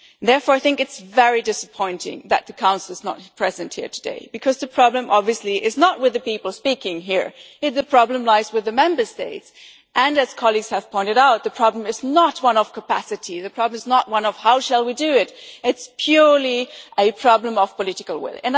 Therefore, it is very disappointing that the Council is not present here today because the problem, obviously, is not with the people speaking here today the problem lies with the Member States and, as colleagues have pointed out, the problem is not one of capacity, the problem is not one of how we shall do this, it is purely a problem of political will.